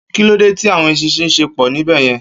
Kilódé ti áwòn éṣìnṣìn ṣé pò níbèyèn?